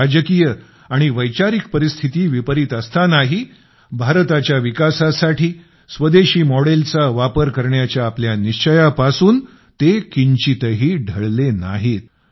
राजकीय आणि वैचारिक परिस्थिती विपरीत असतांनाही भारताच्या विकासासाठी स्वदेशी मॉडेलचा वापर करण्याच्या आपल्या निश्चयापासून ते किंचितही ढळले नाहीत